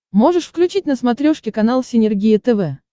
можешь включить на смотрешке канал синергия тв